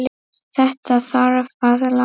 Þetta þarf að laga.